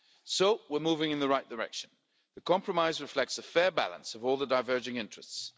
So we're moving in the right direction. The compromise reflects a fair balance of all the diverging interests.